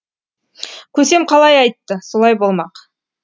көсем қалай айтты солай болмақ